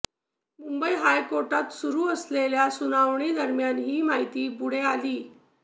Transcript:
मुंबई हायकोर्टात सुरू असलेल्या सुनावणीदरम्यान ही माहिती पुढं आली